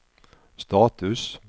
status